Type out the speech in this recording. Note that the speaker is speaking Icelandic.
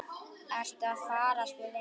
Ertu að fara? spurði Nína.